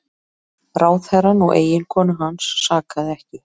Ráðherrann og eiginkonu hans sakaði ekki